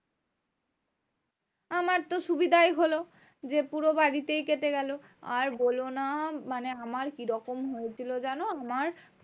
আমার তো সুবিধাই হলো, যে পুরো বাড়িতেই কেটে গেলো। আর বোলো না মানে আমার কিরকম হয়েছিল জানো? আমার